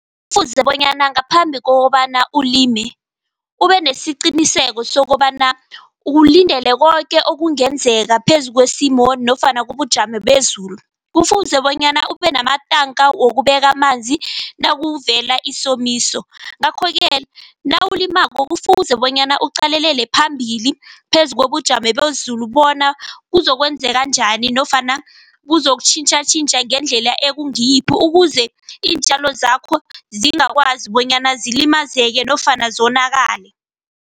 Kufuze bonyana ngaphambi kokobana ulime. Ube nesiqiniseko sokobana ukulindele koke okungenzeka phezu kwesimo nofana kobujamo bezulu. Kufuze bonyana ube namatanka wokubeka amanzi nakuvele isomiso. Ngakho-ke nawulimako kufuze bonyana uqalelele phambili phezu kobujamo bezulu bona kuzokwenzeka njani nofana buzokutjhintjha tjhintjha ngendlela ekungiyiphi. Ukuze iintjalo zakho zingakwazi bonyana zilimazeke nofana zonakale.